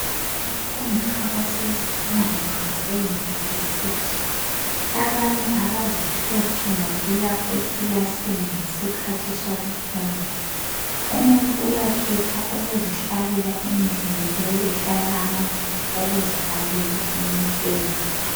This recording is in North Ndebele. Abafundi abasezifundweni ze yunivesithi, abanye abazihluphi ngokuya ekilasini ngesikhathi sokufunda, umuntu uyakhetha ukuzihlalela endlini leyo ehlala amabhuku okuzibalela, umuntu eyedwa.